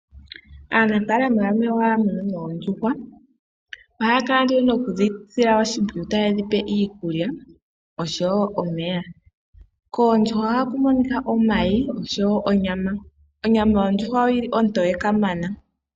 Aanafaalama yamwe ihaya munu oondjuhwa . Ohaya kala nduno nokudhisila oshimpwiyu taye dhipe iikulya oshowo omeya. Koondjuhwa ohaku monika omayi oshowo onyama. Onyama yondjuhwa oyili ontoye kamana.